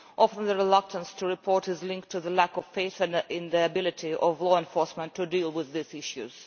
Often the reluctance to report is linked to a lack of faith in the ability of law enforcement to deal with these issues.